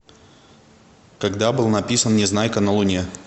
когда был написан незнайка на луне